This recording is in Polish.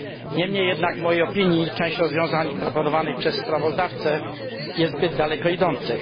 Niemniej jednak w mojej opinii część rozwiązań proponowanych przez sprawozdawcę jest zbyt daleko idących.